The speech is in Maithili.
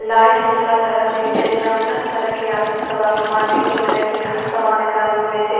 लाइट भी तरह तरह के छै एकरा में तरह-तरह के आदमी सब आवे छै मार्केटिंग करे के लिए हर समान एकरा में मिलय छै।